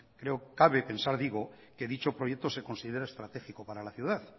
creo cabe pensar digo que dicho proyecto se considera estratégico para la ciudad